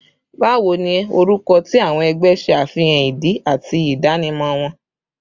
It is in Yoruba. Bawo ni awọn orukọ ti awọn ẹgbẹ ṣe afihan idi ati idanimọ wọn?